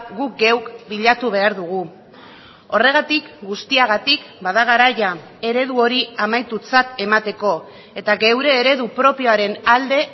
guk geuk bilatu behar dugu horregatik guztiagatik bada garaia eredu hori amaitutzat emateko eta geure eredu propioaren alde